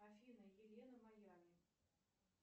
афина елена майями